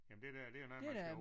Jamen det der det er nærmest til at